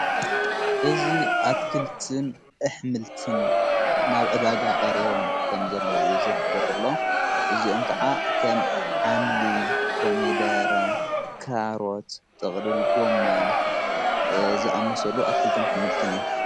እዝ ኣትክልትን ኣኅምልትን ናብ ዕዳጋ ቐሪቦም ከም ዘለዉ እዩ ዙሕብርሎ እዚኡም ከዓ ኸም ሓምሊ ኮሚደረ ካሮት ጥቕልል ጎማን ዝኣመሰሉ ኣትክልትን ኣኅምልትን እየም ::